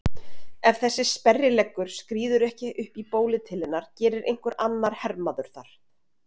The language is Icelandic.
Ef þessi sperrileggur skríður ekki upp í bólið til hennar gerir einhver annar hermaður það.